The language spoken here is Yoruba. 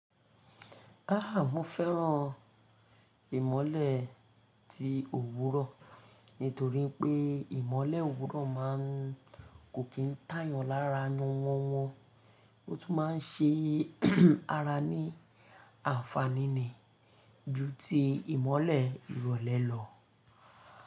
Aah! Mo fẹ́ràn ìmọ̀le tí òwúrọ̀ nítorí pé ìmọ̀le òwúrọ̀ máa ń kò kí ń tayàn lára wọ́n wọ́n wọn. O tún máa ń ṣe ara ní ànfàní ju ti ìmọ̀le ìrọ̀lẹ́ lọ.